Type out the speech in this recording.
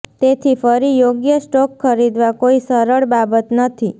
તેથી ફરી યોગ્ય સ્ટોક ખરીદવા કોઈ સરળ બાબત નથી